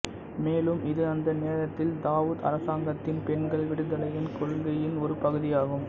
மேலும் இது அந்த நேரத்தில் தாவூத் அரசாங்கத்தின் பெண்கள் விடுதலையின் கொள்கையின் ஒரு பகுதியாகும்